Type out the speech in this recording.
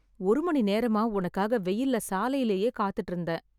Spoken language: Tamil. ஒரு மணி நேரமா உனக்காக வெயில்ல சாலையிலயே காத்துட்டுருந்தேன்.